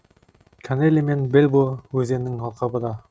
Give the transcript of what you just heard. канелли мен бельбо өзенінің алқабы да